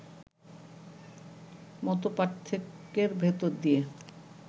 মতপার্থক্যের ভেতর দিয়ে